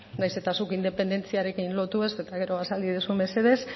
nahiz eta zuk independentziarekin lotu eta gero azaldu iezadazu mesedez